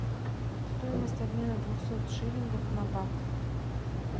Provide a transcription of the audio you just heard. стоимость обмена двухсот шиллингов на бат